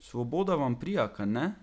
Svoboda vam prija, kajne?